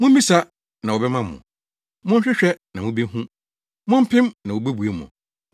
“Mummisa, na wɔbɛma mo; monhwehwɛ, na mubehu; mompem, na wobebue mo.